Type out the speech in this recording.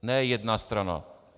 Ne jedna strana.